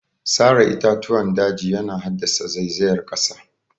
Sare itatuwan daji yana haddasa zaizayar ƙasa